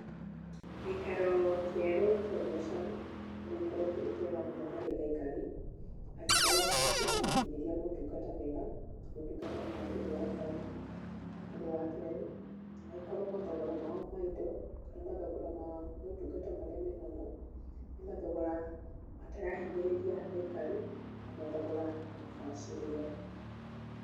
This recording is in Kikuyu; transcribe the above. Gĩikaro kĩerũ kĩa biacara no gĩkorwo kĩ kĩega mũno harĩ aikari, angĩkorwo nĩ kĩramakinyĩria maũtungata mega, na maũtungata marakenia aikari. Ũndũ wa kerĩ, angĩkorwo mathogora mao ma indo, kana mathogora ma maũtungata marĩa menamo nĩ mathogora matarahinyĩrĩria aikari na mathogora mabacĩrĩre.